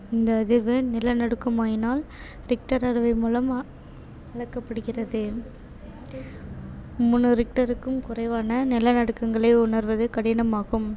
இந்த அதிர்வு நிலநடுக்கம் ஆகினால் richter அளவை மூலம் அளக்கப்படுகிறது. மூன்று richter க்கும் குறைவான நிலநடுக்கங்களை உணர்வது கடினமாகும்.